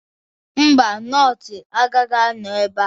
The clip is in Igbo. Mba, nọọsụ agaghị anọ ebe a.